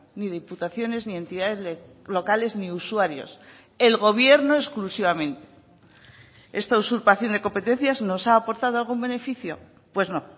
ni diputaciones ni entidades locales ni usuarios el gobierno exclusivamente esta usurpación de competencias nos ha aportado algún beneficio pues no